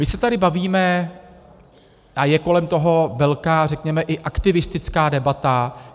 My se tady bavíme a je kolem toho velká, řekněme i aktivistická debata.